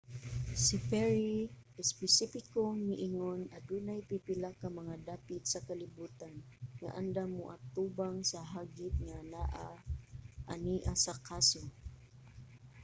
si perry espesipikong miingon adunay pipila ka mga dapit sa kalibutan nga andam mo-atubang sa hagit nga anaa ania sa kaso.